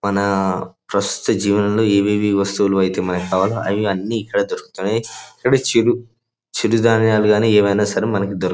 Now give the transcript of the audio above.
మన ప్రస్తుత జీవనంలో ఏవేవి వస్తువులు అయితే మనకి కావాలో అవన్నీ ఇక్కడే దొరుకుతున్నయి.ఇక్కడ చిరు చిరు ధాన్యాలు గాని ఏవైనా సరే మనకి దొరుక్ --